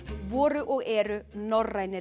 voru og eru norrænir